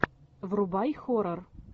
врубай хоррор